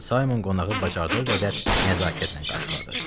Saymon qonağı bacardığı qədər nəzakətlə qarşıladı.